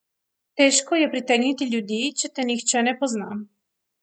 Težko je pritegniti ljudi, če te nihče ne pozna.